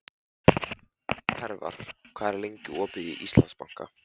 Hervar, hvað er lengi opið í Íslandsbanka?